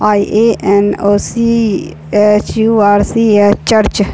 आई_ये_एन ओसी एच_यू_आर_सी_ये चर्च --